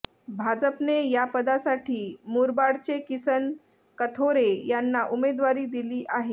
भाजपने यापदासाठी मुरबाडचे किसन कथोरे यांना उमेदवारी दिली आहे